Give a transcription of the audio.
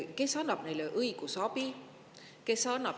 Kes annab neile õigusabi?